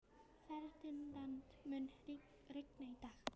Ferdinand, mun rigna í dag?